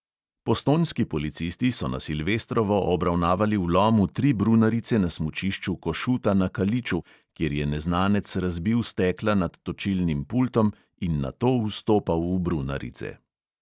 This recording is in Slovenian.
Postojnski policisti so na silvestrovo obravnavali vlom v tri brunarice na smučišču košuta na kaliču, kjer je neznanec razbil stekla nad točilnim pultom in nato vstopal v brunarice.